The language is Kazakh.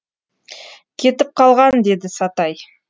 кетіп қалған деді сатай